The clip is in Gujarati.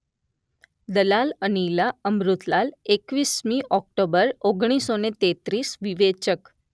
દલાલ અનિલા અમૃતલાલ એકવીસમી ઑક્ટોબર ઓગણીસસો તેંત્રિસ વિવેચક